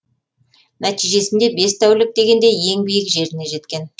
нәтижесінде бес тәулік дегенде ең биік жеріне жеткен